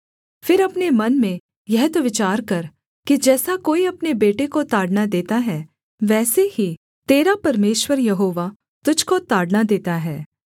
फिर अपने मन में यह तो विचार कर कि जैसा कोई अपने बेटे को ताड़ना देता है वैसे ही तेरा परमेश्वर यहोवा तुझको ताड़ना देता है